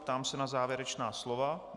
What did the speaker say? Ptám se na závěrečná slova.